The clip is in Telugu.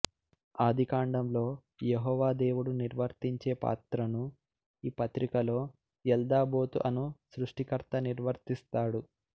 ఆదికాండంలో యెహోవా దేవుడు నిర్వర్తించే పాత్రను ఈ పత్రికలో యల్దాబోతు అను సృష్టికర్త నిర్వర్తిస్తాడు